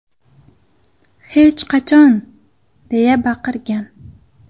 Hech qachon!”− deya baqirgan.